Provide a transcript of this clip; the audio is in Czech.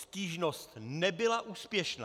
Stížnost nebyla úspěšná.